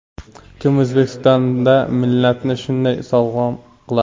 Kim O‘zbekistonda millatni shunday sog‘lom qiladi?